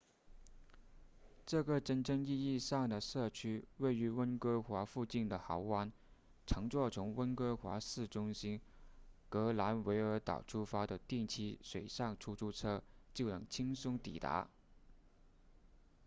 这个真正意义上的社区位于温哥华附近的豪湾乘坐从温哥华市中心格兰维尔岛出发的定期水上出租车就能轻松抵达